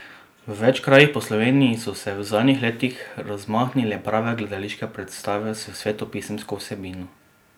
V več krajih po Sloveniji so se v zadnjih letih razmahnile prave gledališke predstave s svetopisemsko vsebino.